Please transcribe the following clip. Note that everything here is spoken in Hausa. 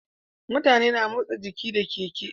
Mutane na motsa jiki da keke